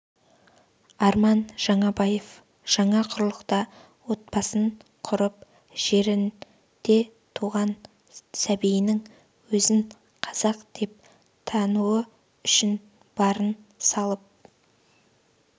арман жаңабаев жаңа құрлықта отбасын құрып жерінде туған сәбиінің өзін қазақ деп тануы үшін барын салып